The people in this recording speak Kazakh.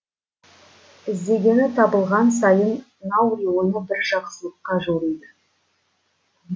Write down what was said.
іздегені табылған сайын наури оны бір жақсылыққа жориды